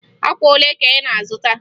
Akwa olee ka ị na-azụta?